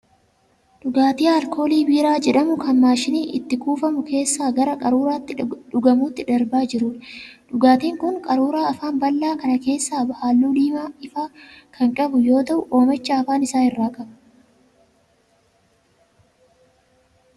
Dhugaatii alkoolii biiraa jedhamu kan 'maashinii' itti kuufamu keessaa gara qaruuraa itti dhugamuutti darbaa jiruudha. Dhugaatiin kun qaruuraa afaan bal'aa kana keessaa halluu diimaa ifaa kan qabu yoo ta'u oomacha afaan isaa irra qaba.